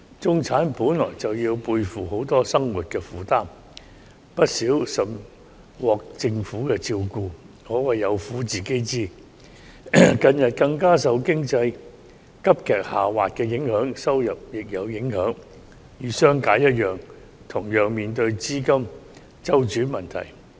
中產本來便要背負許多生活負擔，又甚少獲政府的照顧，可謂有苦自己知，近期經濟急劇下滑，對他們的收入也有影響，與商界一樣面對資金周轉問題。